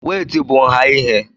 wéétị bu nha ihe